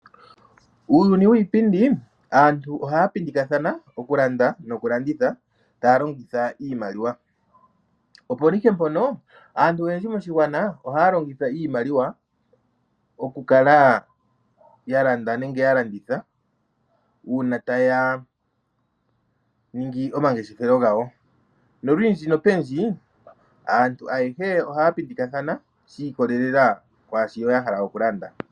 Uuyuni wiipindi aantu ohaya pindikathana oku landa noku landitha taya longitha iimaliwa, opo ihe mpono aantu oyendji moshigwana ohaya longitha iimaliwa oku kala ya landa nenge ya landitha uuna taya ningi omangeshefelo gawo nolundji nopundji aantu ayehe ohaya pindikathana shi ikolelela kwaashono ya hala oku landa.